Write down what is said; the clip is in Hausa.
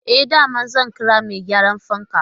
E, da yamma zan kira mai gyaran fankan.